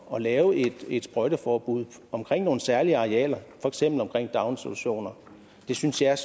at lave et sprøjteforbud omkring nogle særlige arealer for eksempel omkring daginstitutioner det synes jeg